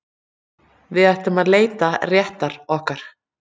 Við ætlum að leita réttar okkar